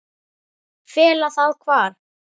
Fela það hvar?